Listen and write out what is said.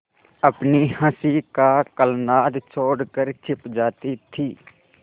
अपनी हँसी का कलनाद छोड़कर छिप जाती थीं